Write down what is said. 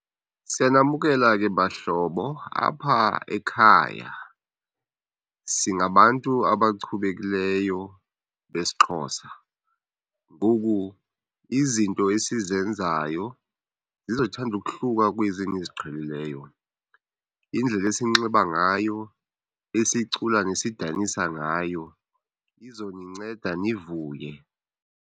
Siyanamkela ke bahlobo. Apha ekhaya singabantu abachubekileyo besiXhosa, ngoku izinto esizenzayo zizothanda uuhluka kwezi niziqhelileyo. Indlela esinxiba ngayo, esicula nesidanisa ngayo izoninceda nivuye.